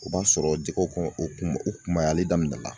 O b'a sɔrɔ jɛgɛw o kon o kun o kunbayalen daminɛ la